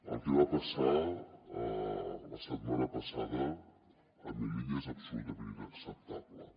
el que va passar la setmana passada a melilla és absolutament inacceptable